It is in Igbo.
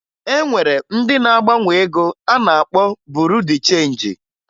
E nwere ndị na-agbanwe ego a na-akpọ Buru Di Chenji